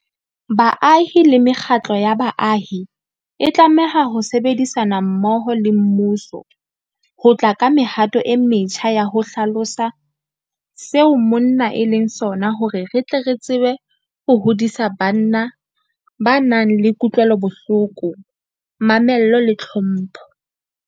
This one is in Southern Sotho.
Baahi le mekgatlo ya baahi e tlameha ho sebedisana mmoho le mmuso ho tla ka mehato e metjha ya ho hlalosa seo monna e leng sona hore re tle re tsebe ho hodisa banna ba nang le kutlwelobohloko, mamello le tlhompho.